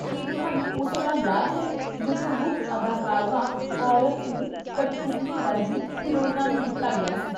ਕੀ ਤੁਹਾਨੂੰ ਉਹ ਸਮਾਂ ਯਾਦ ਹੈ ਜਦੋਂ ਮੁੱਖ ਅਦਾਕਰਵਾ ਔਰਤ ਨੂੰ ਕਠਪੁਤਲੀ ਵਰਗੀ ਹੀਰੋਇਨਾਂ ਨੂੰ ਦਿੱਤਾ ਗਿਆ ਸੀ?